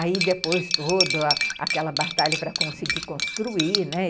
Aí depois toda aquela batalha para conseguir construir, né?